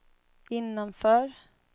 innanför